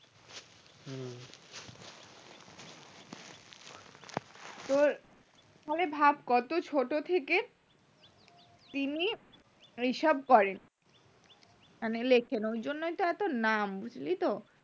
তোর মানে ভাব কত ছোট থেকে তিনি এইসব করেন মানে লেখেন এইজন্যই তো এত নাম